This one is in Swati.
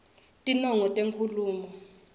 tinongo tenkhulumo